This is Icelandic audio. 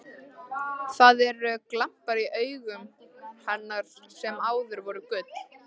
Það eru glampar í augum hennar sem áður voru gul.